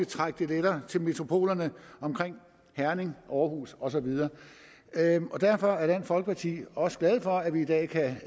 trække ting lettere til metropolerne omkring herning aarhus og så videre derfor er dansk folkeparti også glad for at vi i dag kan